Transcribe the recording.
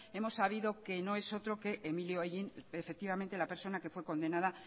hemos sabido que no es otro que emilio hellín efectivamente la persona que fue condenada